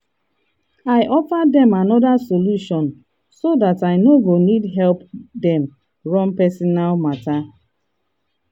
i offer dem another solution so dat i no go need help dem run personal matter. matter.